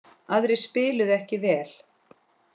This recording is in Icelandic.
Aðrir spiluðu ekki vel.